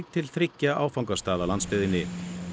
til þriggja áfangastaða á landsbyggðinni